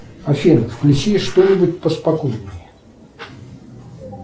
афина включи что нибудь поспокойнее